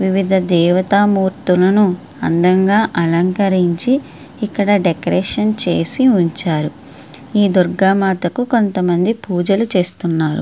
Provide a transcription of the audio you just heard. వివిధ దేవతామూర్తులను అందంగా అలంకరించి ఇక్కడ డెకరేషన్ చేసి ఉంచారు. ఈ దుర్గామాతకు కొంతమంది పూజలు చేస్తున్నారు.